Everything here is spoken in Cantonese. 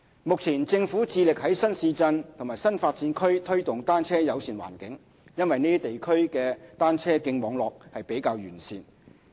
目前，政府致力在新市鎮和新發展區推動"單車友善"環境，因為這些地區的單車徑網絡比較完善。